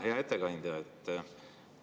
Hea ettekandja!